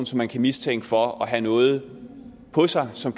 som man kan mistænke for at have noget på sig som